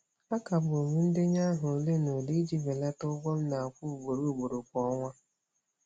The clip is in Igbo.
A kagbụrụ m ndenye aha ole na ole iji belata ụgwọ m na-akwụ ugboro ugboro kwa ọnwa.